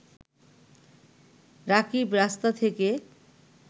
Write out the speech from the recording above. রাকিব রাস্তা থেকে